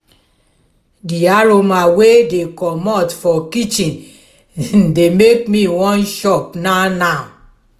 di aroma wey dey komot for kitchen dey make me wan chop now now.